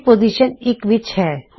A position ਇੱਕ ਵਿੱਚ ਹੈ